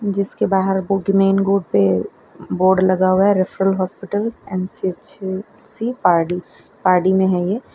जिसके बाहर पे बोर्ड लगा हुआ है referral hospital CHC Pardi Pardi में है ये --